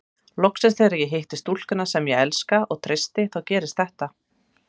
Loksins þegar ég hitti stúlkuna sem ég elska og treysti þá gerist þetta.